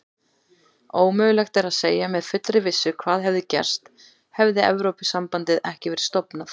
Ómögulegt er að segja með fullri vissu hvað hefði gerst hefði Evrópusambandið ekki verið stofnað.